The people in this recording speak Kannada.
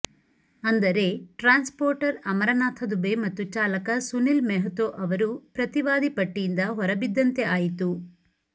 ಅಂದರೆ ಟ್ರಾನ್ಸ್ಪೋರ್ಟರ್ ಅಮರನಾಥ ದುಬೆ ಮತ್ತು ಚಾಲಕ ಸುನಿಲ್ ಮೆಹ್ತೋ ಅವರು ಪ್ರತಿವಾದಿ ಪಟ್ಟಿಯಿಂದ ಹೊರಬಿದ್ದಂತೆ ಆಯಿತು